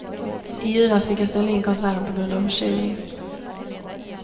I julas fick jag ställa in konserten på grund av förkylning.